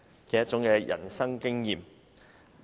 旅行是一種人生經驗。